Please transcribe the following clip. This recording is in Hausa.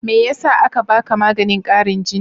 Me yasa aka baka maganin ƙarin jini?